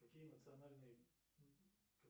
какие национальные